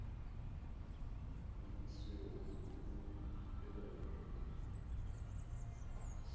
o bego o ithutela yona